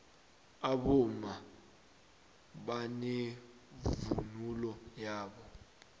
abomma banevunulo yabo